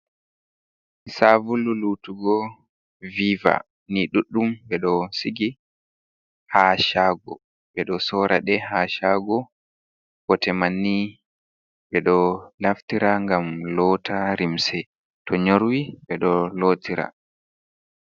Sabulu Lotugo Viva ni ɗudɗum ɓe ɗo Sigi ha Chago, ɓe ɗo Sora ɗe ha Chago. bote Manni ɓe ɗo Naftira ngam lootira Limse to Norwi ɓe ɗo do Lotira.